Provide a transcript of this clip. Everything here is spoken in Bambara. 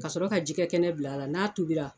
Ka sɔrɔ ka jɛgɛ kɛnɛ bila la n'a tubira.